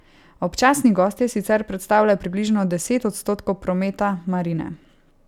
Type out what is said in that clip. Občasni gostje sicer predstavljajo približno deset odstotkov prometa marine.